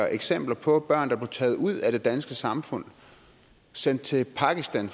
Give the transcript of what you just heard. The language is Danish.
eksempler på børn der blev taget ud af det danske samfund og sendt til pakistan